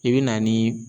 I bɛ na ni